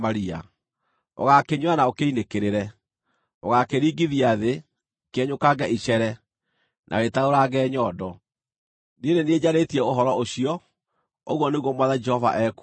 Ũgaakĩnyuĩra na ũkĩinĩkĩrĩre; ũgaakĩringithia thĩ, kĩenyũkange icere, na wĩtarũrange nyondo. Nĩ niĩ njarĩtie ũhoro ũcio, ũguo nĩguo Mwathani Jehova ekuuga.